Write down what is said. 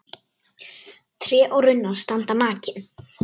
Tré og runnar standa nakin.